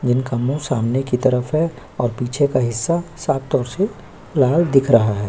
जिनके मुंह सामने की तरफ है और पीछे का हिस्सा साफ तौर से लाल दिख रहा है।